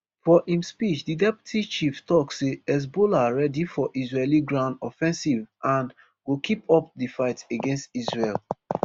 for im speech di deputy chief tok say hezbollah ready for israeli ground offensive and go keep up di fight against israel